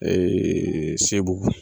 SEBUGU.